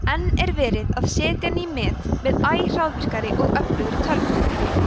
enn er verið að setja ný met með æ hraðvirkari og öflugri tölvum